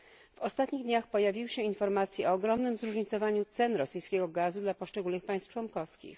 W ostatnich dniach pojawiły się informacje o ogromnym zróżnicowaniu cen rosyjskiego gazu dla poszczególnych państw członkowskich.